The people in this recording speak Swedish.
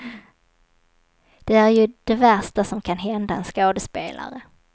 Det är ju det värsta som kan hända en skådespelare.